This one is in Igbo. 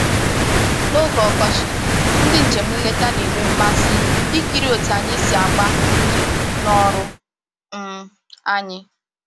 N'oge ọkọchị, ndị njem nleta na-enwe mmasị ikiri otu anyị si agba mmiri n'ọrụ um anyị